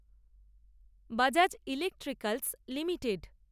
Bajaj electricals limited